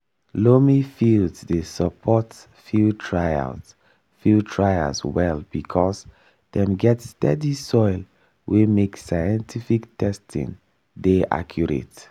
loamy fields dey support field trials field trials well because dem get steady soil wey make scientific testing dey accurate.